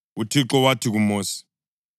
UThixo wathi kuMosi,